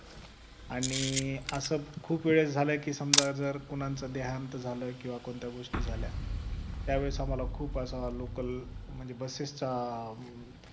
आणि असं खूप वेळेस झाले की समजा जर कोणाचा देहांत झालं किंवा कोणत्या गोष्टी झाल्य त्यावेळेस आम्हाला खूप असं local म्हणजे बसेसचा